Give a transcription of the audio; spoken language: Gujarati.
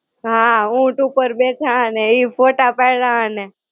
હાં, ઊંટ ઉપર બેઠા અને ઈ ફોટા પાયડા અને